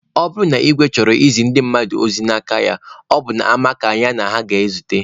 Ọ bụrụ na igwe chọrọ izi ndị mmadụ ozi n'aka ya, ọ bụ n'ama ka ya na ha na-ezute.